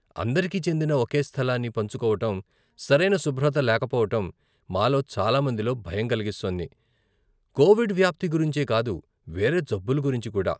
అందరికీ చెందిన ఒకే స్థలాన్ని పంచుకోవటం, సరైన శుభ్రత లేకపోవటం మాలో చాలా మందిలో భయం కలిస్తోంది, కోవిడ్ వ్యాప్తి గురించే కాదు, వేరే జబ్బుల గురించి కూడా.